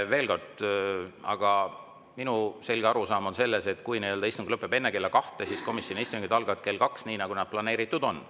Veel kord, minu selge arusaam on see, et kui istung lõpeb enne kella kahte, siis komisjonide istungid algavad kell kaks, nii nagu planeeritud on.